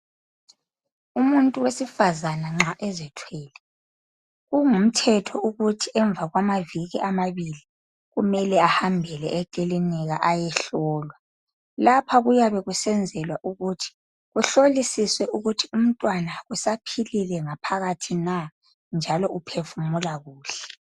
Umuntu wesifazana nxa ezithwele kungumthetho ukuthi emva kwamaviki amabili kumele ahambele ekilinika ayehlolwa. Lapha kuyabe kusenzelwa ukuthi kuhlolisiswe ukuthi umntwana usaphilile ngaphakathi na njalo uphefumula kuhle.